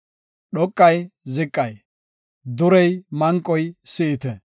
Dhoqay ziqay, durey manqoy si7ite.